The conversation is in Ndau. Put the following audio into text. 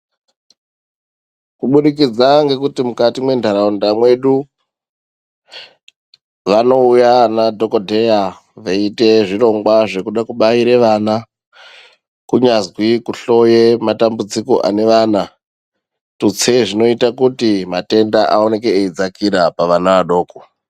Kubudikidza ngekuti mukati mwentaraunda mwedu vanouya vana dhokodheya veite zvirongwa zvekude kubaire vana kunyazwi kuhloye matambudziko ane vana tutse zvinoita kuti matenda aone eidzkira pavana vadoko.